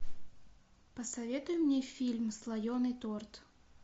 посоветуй мне фильм слоеный торт